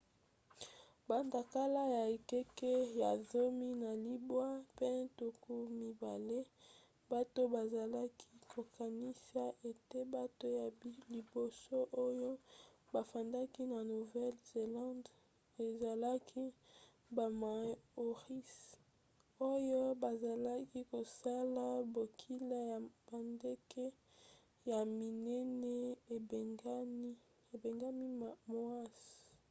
banda kala na ekeke ya zomi na libwa mpe tuku mibale bato bazalaki kokanisa ete bato ya liboso oyo bafandaki na nouvelle-zélande ezalaki bamaoris oyo bazalaki kosala bokila ya bandeke ya minene ebengami moas